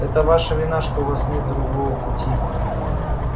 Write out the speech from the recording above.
это ваша вина что у вас нет другого пути